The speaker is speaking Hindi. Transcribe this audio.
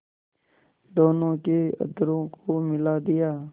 दोनों के अधरों को मिला दिया